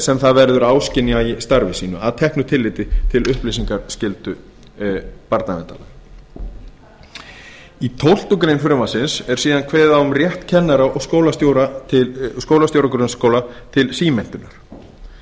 sem það verður áskynja í starfi sínu að teknu tilliti til upplýsingaskyldu barnaverndarlaga í tólftu greinar frumvarpsins er síðan kveðið á um rétt kennara og skólastjóra grunnskóla til símenntunar